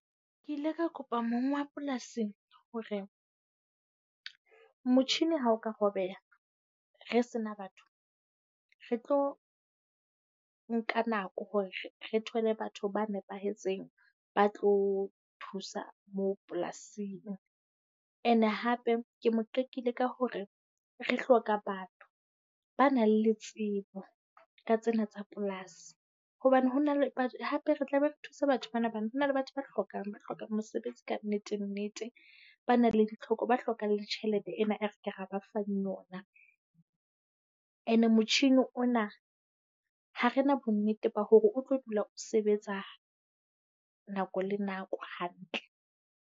Ke ile ra kopa mong wa polasi hore motjhini ha o ka robeha, re sena batho, re tlo nka nako hore re thole batho ba nepahetseng ba tlo thusa moo polasing. And-e hape ke mo qekile ka hore re hloka batho ba nang le tsebo ka tsena tsa polasi. Hobane ho na le but hape re tla be re thusa batho bana bana. Ho na le batho ba hlokang ba hloka mosebetsi kannete nnete, ba na le ditlhoko. Ba hlokamg le tjhelete ena e re ke ra ba fang yona, and-e motjhini ona ha re na bonnete ba hore o tlo dula o sebetsa nako le nako hantle.